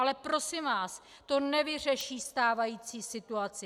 Ale prosím vás, to nevyřeší stávající situaci.